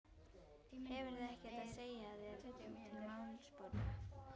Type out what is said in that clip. Hefurðu ekkert að segja þér til málsbóta.